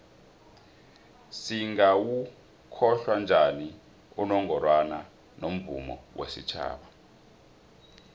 singawokhohla njani unongorwana womvumo wesitjhaba